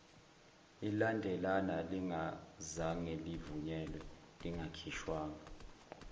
ilandelana lingazangelivunyelwe lingakhishwa